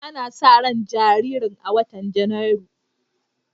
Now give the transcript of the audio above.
Ana sa ran jaririn a watan Janairu.